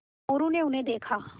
मोरू ने उन्हें देखा